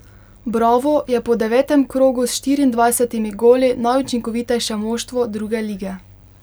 Bravo je po devetem krogu s štiriindvajsetimi goli najučinkovitejše moštvo druge lige.